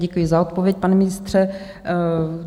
Děkuji za odpověď, pane ministře.